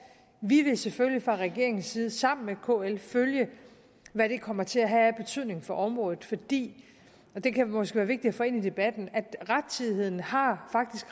vi vil selvfølgelig fra regeringens side sammen med kl følge hvad det kommer til at have af betydning for området fordi og det kan måske være vigtigt at få ind i debatten rettidigheden faktisk har